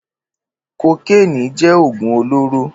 Kókéni jẹ̀ ógún olóró